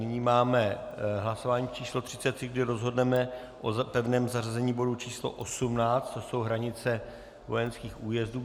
Nyní máme hlasování číslo 33, kdy rozhodneme o pevném zařazení bodu číslo 18, to jsou hranice vojenských újezdů.